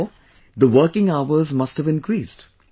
Therefore the working hours must have increased